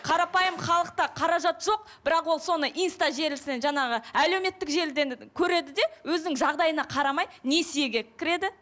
қарапайым халықта қаражат жоқ бірақ ол соны инста желіснен жаңағы әлеуметтік желіден көреді де өзінің жағдайына қарамай несиеге кіреді